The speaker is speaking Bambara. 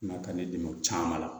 I ma ka ne dɛmɛ o caman na